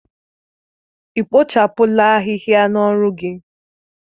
Ị kpochapụla ahịhịa n'ọrụ gị?